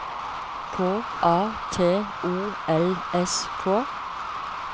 K A T O L S K